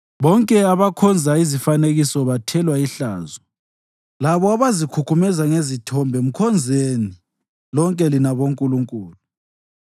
Bonke abakhonza izifanekiso bathelwa ihlazo, labo abazikhukhumeza ngezithombe mkhonzeni, lonke lina bonkulunkulu!